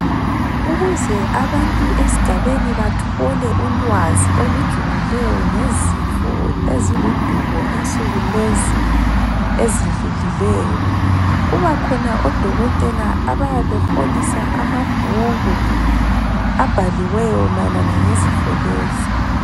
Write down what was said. Ukuze abantu esigabeni bathole ulwazi olujulileyo ngezifo eziludubo, insuku lezi ezidlulileyo, kubakhona odokotela abayebe beholisa amabhuku abhaliweyo mayelana ngezifo lezi.